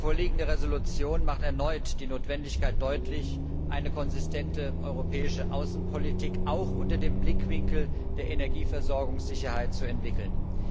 Die vorliegende Entschließung macht erneut die Notwendigkeit deutlich, eine konsistente europäische Außenpolitik auch unter dem Blickwinkel der Energieversorgungssicherheit zu entwickeln.